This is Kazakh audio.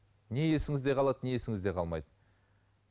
не есіңізде қалады не есіңізде қалмайды